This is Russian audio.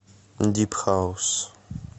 дип хаус